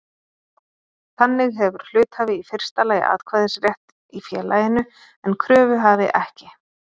Þannig hefur hluthafi í fyrsta lagi atkvæðisrétt í félaginu en kröfuhafi ekki.